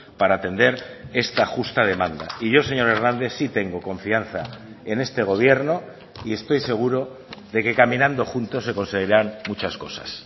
para atender esta justa demanda y yo señor hernández sí tengo confianza en este gobierno y estoy seguro de que caminando juntos se conseguirán muchas cosas